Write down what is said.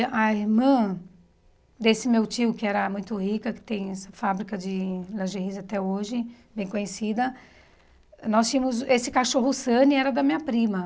A irmã desse meu tio, que era muito rica, que tem essa fábrica de lingeries até hoje, bem conhecida, nós tínhamos... Esse cachorro Sunny era da minha prima.